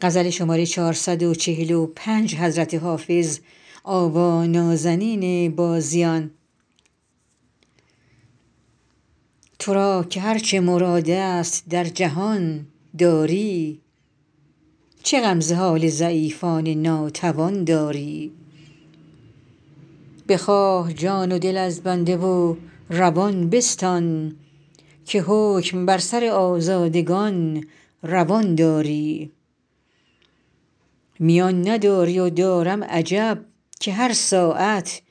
تو را که هر چه مراد است در جهان داری چه غم ز حال ضعیفان ناتوان داری بخواه جان و دل از بنده و روان بستان که حکم بر سر آزادگان روان داری میان نداری و دارم عجب که هر ساعت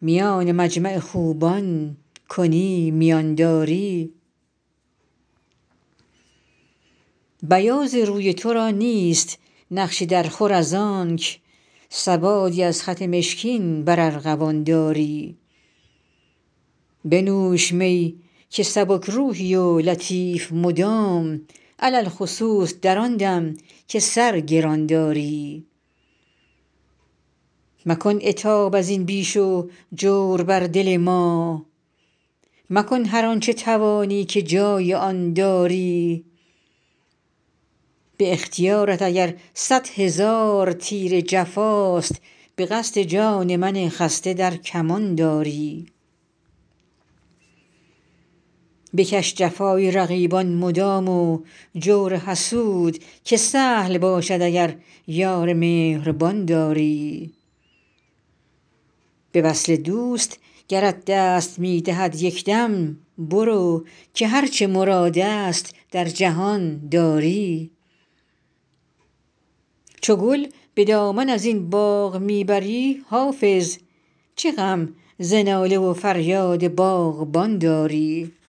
میان مجمع خوبان کنی میان داری بیاض روی تو را نیست نقش درخور از آنک سوادی از خط مشکین بر ارغوان داری بنوش می که سبک روحی و لطیف مدام علی الخصوص در آن دم که سر گران داری مکن عتاب از این بیش و جور بر دل ما مکن هر آن چه توانی که جای آن داری به اختیارت اگر صد هزار تیر جفاست به قصد جان من خسته در کمان داری بکش جفای رقیبان مدام و جور حسود که سهل باشد اگر یار مهربان داری به وصل دوست گرت دست می دهد یک دم برو که هر چه مراد است در جهان داری چو گل به دامن از این باغ می بری حافظ چه غم ز ناله و فریاد باغبان داری